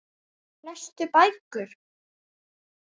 Lestu bækur?